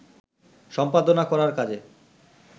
সম্পাদনা করার কাজে